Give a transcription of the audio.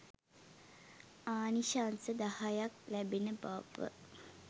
ආනිශංස දහයක් ලැබෙන බව